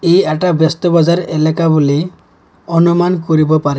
ই এটা ব্যস্ত বজাৰ এলেকা বুলি অনুমান কৰিব পাৰি।